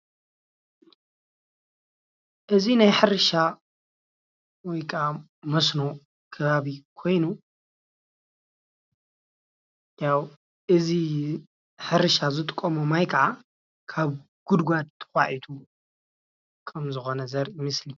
እዙይ ናይ ሕርሻ ወይከዓ መሶኖ ከባቢ ኾይኑ ያው እዙይ ሕርሻ ዝጥቀሞ ማይ ኸዓ ካብ ጉድጓጓድ ተዃዒቲ ከም ምዃኑ ዘርኢ ምስሊ እዩ።